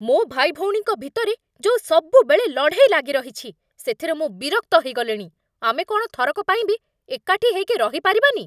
ମୋ ଭାଇଭଉଣୀଙ୍କ ଭିତରେ ଯୋଉ ସବୁବେଳେ ଲଢ଼େଇ ଲାଗିରହିଛି, ସେଥିରେ ମୁଁ ବିରକ୍ତ ହେଇଗଲିଣି । ଆମେ କ'ଣ ଥରକ ପାଇଁ ବି ଏକାଠି ହେଇକି ରହିପାରିବାନି?